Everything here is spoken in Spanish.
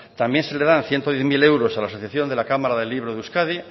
también se le dan ciento diez mil euros a la asociación de la cámara del libro de euskadi